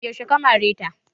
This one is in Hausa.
Yaushe ka mare ta?